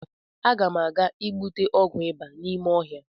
Agam aga igbute ọgwụ ịba n’ime ọhịa